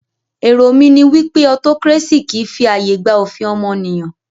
Èrò mí ní wípé autocracy kìí fi ààyè gba òfin ọmọnìyàn.